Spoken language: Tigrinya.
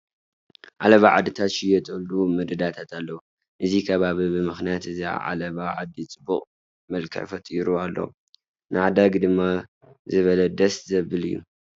ዓለባ ዓድታት ዝሽየጥሉ መደዳታት ኣለዉ፡፡ እዚ ከባቢ ብምኽንያት እዚ ዓለባ ዓዲ ፅቡቕ መልክዕ ፈጢሩ ኣሎ፡፡ ንዓዳጊ ድማ ዝበለ ደስ ዘብል እዩ፡፡